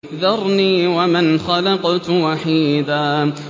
ذَرْنِي وَمَنْ خَلَقْتُ وَحِيدًا